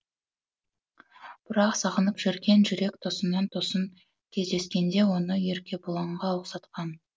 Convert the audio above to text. бірақ сағынып жүрген жүрек тосыннан тосын кездескенде оны еркебұланға ұқсатқан